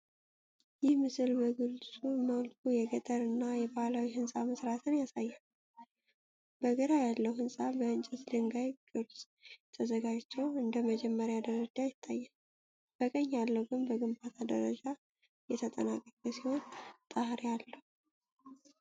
ይህ ምስል በግልጽ መልኩ የገጠር እና የባህላዊ ህንፃ መሥራትን ያሳያል። በግራ ያለው ህንፃ በእንጨት ድንጋይ ቅርፅ ተዘጋጅቶ እንደመጀመሪያ ደረጃ ይታያል፣ በቀኝ ያለው ግን በግንባታ ደረጃ የተጠናቀቀ ሲሆን ጣሪያ አለው።